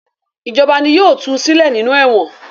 Ìjọba ni yóò tu sílẹ̀ nínú ẹ̀wọ̀n.